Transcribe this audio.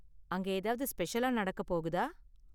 அங்க ஏதாவது ஸ்பெஷலா நடக்கப் போகுதா?